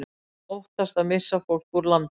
Óttast að missa fólk úr landi